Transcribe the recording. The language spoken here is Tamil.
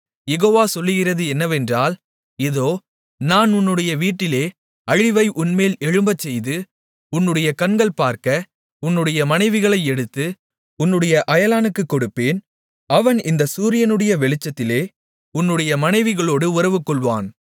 யெகோவா சொல்லுகிறது என்னவென்றால் இதோ நான் உன்னுடைய வீட்டிலே அழிவை உன்மேல் எழும்பச்செய்து உன்னுடைய கண்கள் பார்க்க உன்னுடைய மனைவிகளை எடுத்து உன்னுடைய அயலானுக்குக் கொடுப்பேன் அவன் இந்தச் சூரியனுடைய வெளிச்சத்திலே உன்னுடைய மனைவிகளோடு உறவுகொள்வான்